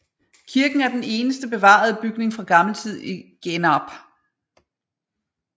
Kirken er den eneste bevarede bygning fra gammel tid i Genarp